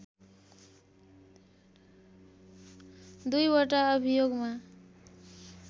दुईवटा अभियोगमा